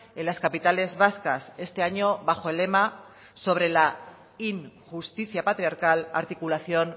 en las capitales vascas este año bajo el lema sobre la injusticia patriarcal articulación